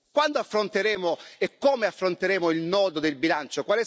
Quando affronteremo e come affronteremo il nodo del bilancio?